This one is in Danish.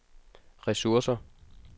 ressourcer